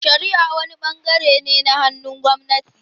Shari'a wani bangare ne na hannun gwamnati.